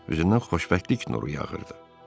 Üzündən xoşbəxtlik nuru yağırdı.